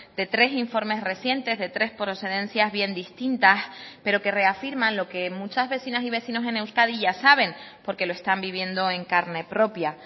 de tres informes recientes de tres procedencias bien distintas pero que reafirman lo que muchas vecinas y vecinos en euskadi ya saben porque lo están viviendo en carne propia